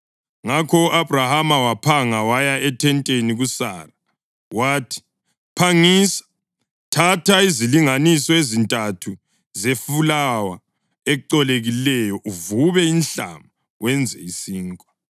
Ngakho u-Abhrahama waphanga waya ethenteni kuSara. Wathi, “Phangisa, thatha izilinganiso ezintathu zefulawa ecolekileyo, uvube inhlama wenze isinkwa.”